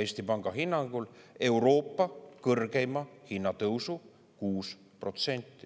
Eesti Panga hinnangul kaasa Euroopa kõrgeima hinnatõusu, 6%.